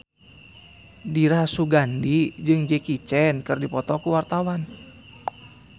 Dira Sugandi jeung Jackie Chan keur dipoto ku wartawan